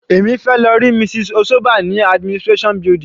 Èmi fẹ́ lọ rí Mrs. Osoba ní administration building.